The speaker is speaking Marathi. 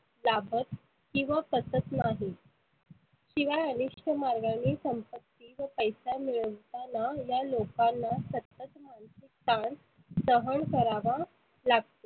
लाभत किंवा पचत नाही. शिवाय अनिष्ठ मार्गानी संपत्ती व पैसा मिळवताना या लोकांना सतत मानसीक तान सहन करावा लागतो.